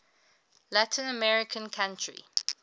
latin american country